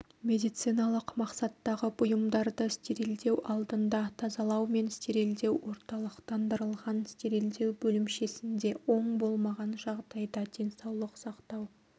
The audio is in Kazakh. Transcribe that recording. медициналық мақсаттағы бұйымдарды стерилдеу алдында тазалау мен стерилдеу орталықтандырылған стерилдеу бөлімшесінде ол болмаған жағдайда денсаулық сақтау